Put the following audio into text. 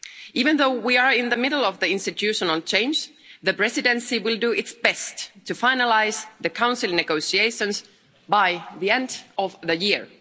Even though we are in the middle of the institutional change, the Presidency will do its best to finalise the Council negotiations by the end of the year.